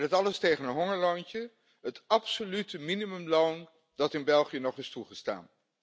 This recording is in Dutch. En dat alles tegen een hongerloontje het absolute minimumloon dat in België nog is toegestaan.